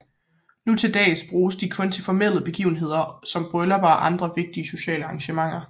Nu til dags bruges de kun til formelle begivenheder som bryllupper og andre vigtige sociale arrangementer